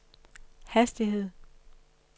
hastighed